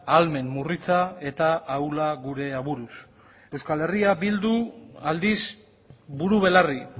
ahalmen murritza eta ahula gure aburuz euskal herria bildu aldiz buru belarri